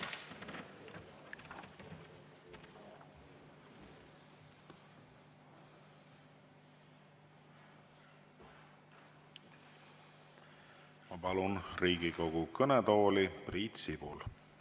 Ma palun Riigikogu kõnetooli Priit Sibula.